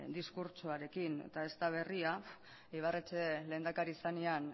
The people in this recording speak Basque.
diskurtsoarekin eta ez da berria ibarretxe lehendakari zenean